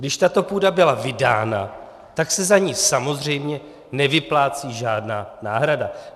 Když tato půda byla vydána, tak se za ni samozřejmě nevyplácí žádná náhrada.